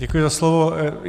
Děkuji za slovo.